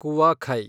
ಕುವಾಖೈ